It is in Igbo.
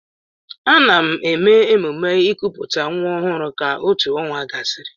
Ana-eme emume ikuputa nwa ọhụrụ ka otù ọnwa gasịrị.